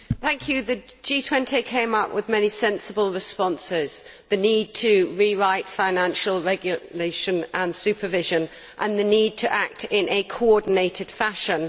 Mr President, the G20 came up with many sensible responses the need to rewrite financial regulation and supervision, and the need to act in a coordinated fashion.